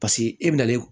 Paseke e bɛna